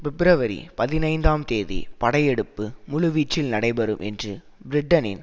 பிப்ரவரி பதினைந்தாம் தேதி படையெடுப்பு முழுவீச்சில் நடைபெறும் என்று பிரிட்டனின்